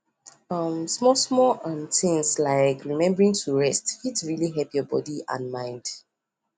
um small small things like rembering to rest it really help your body and mind